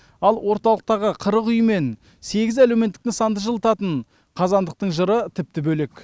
ал орталықтағы қырық үй мен сегіз әлеуметтік нысанды жылытатын қазандықтың жыры тіпті бөлек